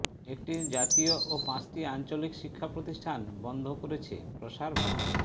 একটি জাতীয় ও পাঁচটি আঞ্চলিক শিক্ষা প্রতিষ্ঠান বন্ধ করছে প্রসার ভারতী